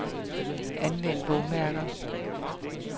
Anvend bogmærker.